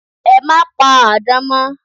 E máa pa àdán mọ́